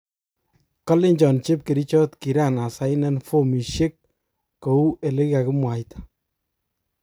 Kolenchon chepkerichot kiran asainen fomishek kou elekikakimwaita.